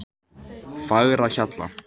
Fagrahjalla